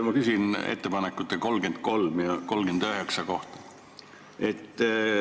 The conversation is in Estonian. Ma küsin ettepanekute 33 ja 39 kohta.